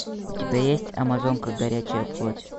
у тебя есть амазонка горячая плоть